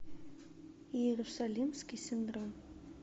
иерусалимский синдром